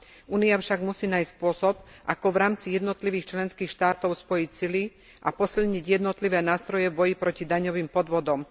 Únia však musí nájsť spôsob ako v rámci jednotlivých členských štátov spojiť sily a posilniť jednotlivé nástroje v boji proti daňovým podvodom.